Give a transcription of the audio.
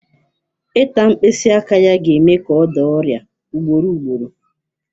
Ịta mkpịsị aka ya ga-eme ka ọ daa ọrịa ugboro ugboro